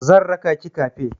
Zan raka ki kafe.